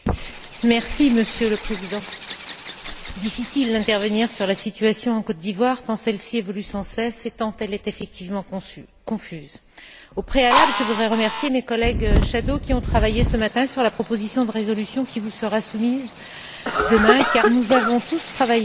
Monsieur le Président, il est difficile d'intervenir sur la situation en Côte d'Ivoire quand celle ci évolue sans cesse et tant elle est effectivement confuse. Au préalable, je voudrais remercier mes collègues rapporteurs fictifs, qui ont travaillé ce matin sur la proposition de résolution qui vous sera soumise demain, car nous avons tous travaillé ensemble